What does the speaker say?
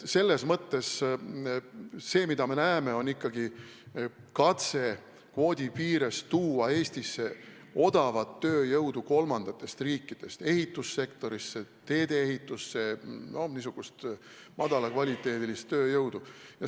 Aga põhiliselt me näeme ikkagi katset tuua kvoodi piires Eestisse odavat tööjõudu kolmandatest riikidest ehitussektorisse, teedeehitusse – no niisugust madala kvaliteediga tööjõudu.